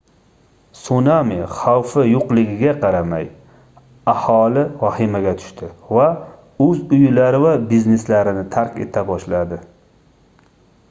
sunami xavfi yoʻqligiga qaramay aholi vahimaga tushdi va oʻz uylari va bizneslarini tark eta boshladi